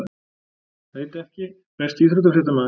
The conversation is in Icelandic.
Veit ekki Besti íþróttafréttamaðurinn?